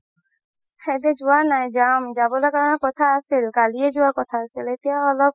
যোৱা নাই যাম যাবলৈ কাৰণে কথা আছিল কালিয়ে যোৱা কথা আছিল এতিয়া অলপ